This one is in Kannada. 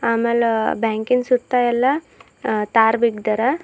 ಆಮೇಲ ಬ್ಯಾಂಕಿನ್ ಸುತ್ತ ಎಲ್ಲ ತರ್ ಬಿಗ್ದಾರ.